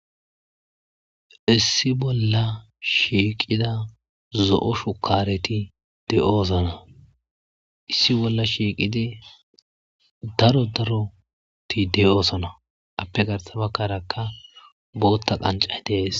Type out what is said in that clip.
issi bolla shiiqida zo7o shukareti de7osona issi bolla shiiqidi daro daroti de7osona appe garsabakaraka bootta qanca dees